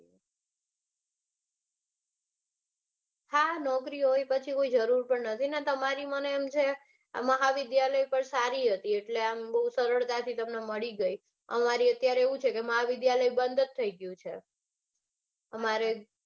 હા હા નોકરી હોય તો પછી કોઈ જરૂર પણ નથી. ને તમારે એમ છે આ મહાવિદ્યાલય સારી હતી એટલે આમ બઉ સરળતાથી તમને મળી ગઈ અમારે અત્યારે એવું છે કે મહાવિદ્યાલય બંધ જ થઇ ગયું છે.